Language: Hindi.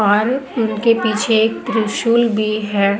और उनके पीछे एक त्रिशूल भी है।